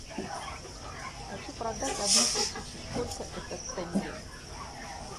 хочу продать одну тысячу сколько это в тенге